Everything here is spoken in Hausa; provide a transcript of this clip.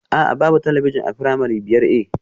A'a, babu talabijin a firamare biyar A